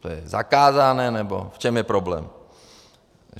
To je zakázané, nebo v čem je problém?